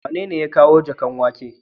Wanene ya kawo jakan waken.?